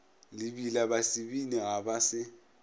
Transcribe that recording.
lebila basebini ga ba se